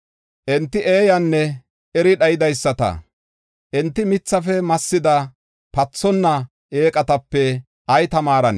Enti eeyanne eri dhayidaysata; enti mithafe massida, pathonna eeqatape ay tamaarona?